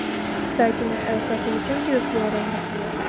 кстати на катя зачем тебе флюорография